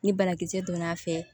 Ni banakisɛ donna a fɛ